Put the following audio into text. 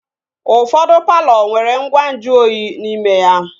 Ụfọdụ palọ nwere ngwa nju oyi n'ime ya